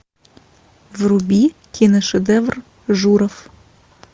вруби киношедевр журов